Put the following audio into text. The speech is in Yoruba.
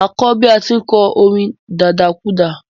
Mà á kọ́ bí à á ti ń kọ orin dadakúàdà.